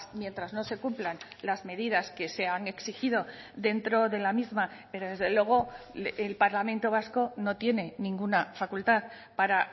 mientras no se cumplan las medidas que se han exigido dentro de la misma pero desde luego el parlamento vasco no tiene ninguna facultad para